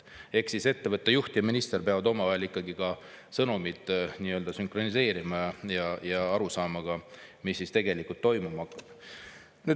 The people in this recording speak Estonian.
Ehk siis ettevõtte juht ja minister peavad omavahel sõnumid sünkroniseerima ja aru saama, mis tegelikult toimuma hakkab.